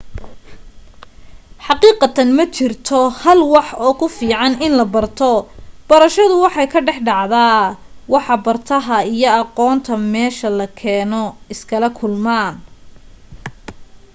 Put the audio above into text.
xaqiiqatan ma jirto hal wax oo ku fiican in la barto barashadu waxay ka dhex dhacdaa waxa bartaha iyo aqoonta meesha la keeno iskala kulmaan